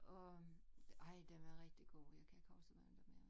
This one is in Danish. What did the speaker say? Og ej den var rigtig god jeg kan ikke huske hvad den hed